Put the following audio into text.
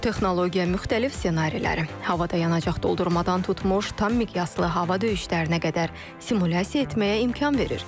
Bu texnologiya müxtəlif ssenariləri, havada yanacaq doldurmadan tutmuş, tam miqyaslı hava döyüşlərinə qədər simulyasiya etməyə imkan verir.